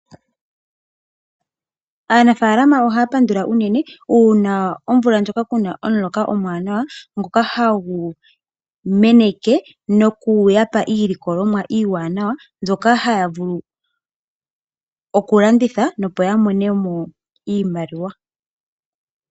Aanafaalama ohaya pandula unene uuna omvo ngoka kuna omuloka omuwanawa ngoka hagu meneke noku yapa iilikolomwa iiwanawa mbyoka haya vulu oku landitha opo ya monemo iimaliwa.